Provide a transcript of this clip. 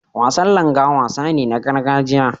Wasan Langa wasa ne na gargajiya.